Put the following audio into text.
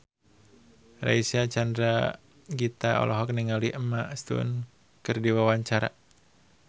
Reysa Chandragitta olohok ningali Emma Stone keur diwawancara